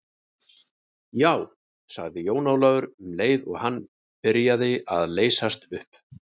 Já, sagði Jón Ólafur, um leið og hann byrjaði að leysast upp.